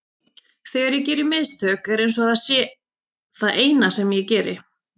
Þegar ég geri mistök er eins og það sé það eina sem ég geri.